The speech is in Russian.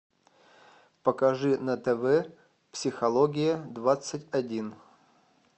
покажи на тв психология двадцать один